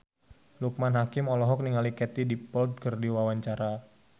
Loekman Hakim olohok ningali Katie Dippold keur diwawancara